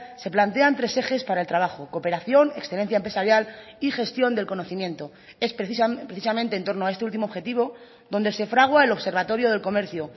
se plantean tres ejes para el trabajo cooperación excelencia empresarial y gestión del conocimiento es precisamente en torno a este último objetivo donde se fragua el observatorio del comercio